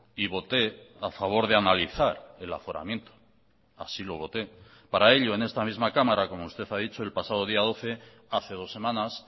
y voté a favor de analizar el aforamiento así lo voté para ello en esta misma cámara como usted ha dicho el pasado día doce hace dos semanas